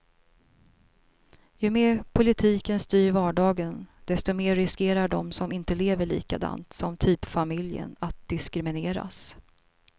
Ju mer politiken styr vardagen, desto mer riskerar de som inte lever likadant som typfamiljen att diskrimineras.